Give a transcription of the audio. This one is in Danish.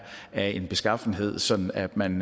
af en beskaffenhed sådan at man